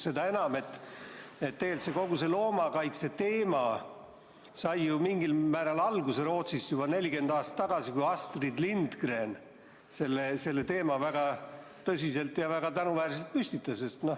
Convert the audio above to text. Seda enam, et tegelikult kogu see loomakaitse teema sai ju mingil määral alguse Rootsis juba 40 aastat tagasi, kui Astrid Lindgren selle väga tõsiselt ja väga tänuväärselt püstitas.